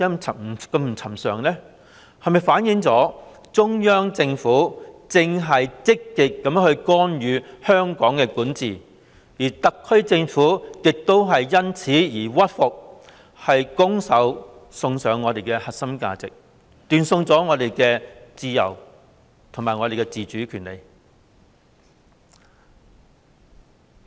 這是否反映中央政府正積極干預香港的管治，而特區政府亦因此而屈服，拱手送上我們的核心價值，斷送了我們的自由和自主的權利？